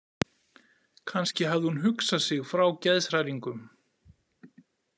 Kannski hafði hún hugsað sig frá geðshræringum.